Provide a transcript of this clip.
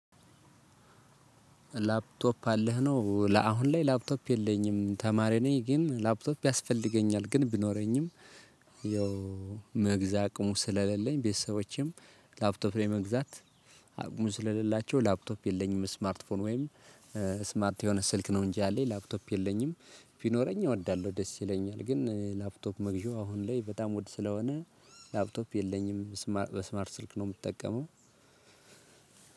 ላፕቶፕ አለህ? ነው ለአሁን ላይ ላፕቶፕ የለኝም ተማሪ ነኝ ግን ላፕቶፕ ያስፈልገኛል። ግን ቢኖረኝም የመግዛት አቅሙ ስለሌለኝ ቤተሰቦቼም ላፕቶፕ ለመግዛት አቅሙ ስለሌላቸው ላፕቶፕ የለኝም። ስማርት ፎን ወይም ስማርት የሆነ ስልክ ነው እንጂ አለኝ ላፕቶፕ የለኝም። ቢኖረኝ እወዳለሁ ደስ ይለኛል። ግን ላፕቶፕ መግዣው አሁን ላይ በጣም ወድ ስለሆነ ላፕቶፕ የለኝም በስማርት ስልክ ነው የምትጠቀመው።